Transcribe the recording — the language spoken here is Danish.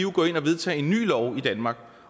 gå ind og vedtage en ny lov i danmark